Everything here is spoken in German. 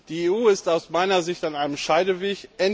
Die EU ist aus meiner Sicht an einem Scheideweg.